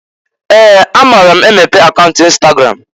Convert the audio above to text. Ee! Amara m emepe account Instagram.